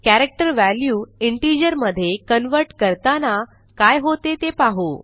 character value integer मधे convert करताना काय होते ते पाहू